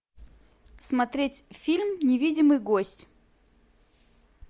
смотреть фильм невидимый гость